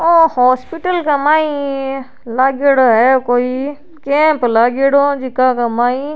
ओ हॉस्पिटल के माई लागेङो हैकोई कैंप लागेङो जका के माई --